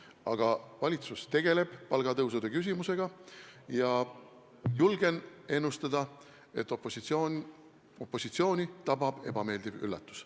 Aga valitsus tegeleb palgatõusu küsimusega ja julgen ennustada, et opositsiooni tabab ebameeldiv üllatus.